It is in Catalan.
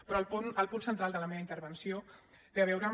però el punt central de la meva intervenció té a veure amb